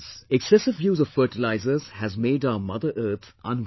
Excessive use of fertilisers has made our Mother Earth unwell